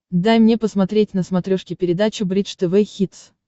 дай мне посмотреть на смотрешке передачу бридж тв хитс